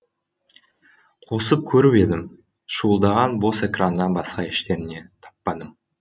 қосып көріп едім шуылдаған бос экраннан басқа ештеңе таппадым